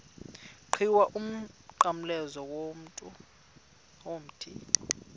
qhiwu umnqamlezo womthi